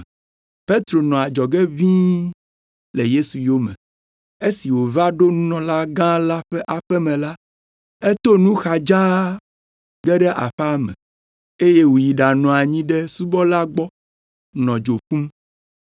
Petro nɔ adzɔge ʋĩi le Yesu yome. Esi wòva ɖo nunɔlagã la ƒe aƒe me la, eto nu xa dzaa ge ɖe aƒea me eye wòyi ɖanɔ anyi ɖe subɔla gbɔ nɔ dzo ƒum.